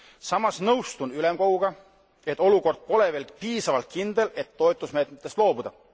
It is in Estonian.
Samas nõustun ülemkoguga, et olukord ei ole veel piisavalt kindel, et toetusmeetmetest loobuda.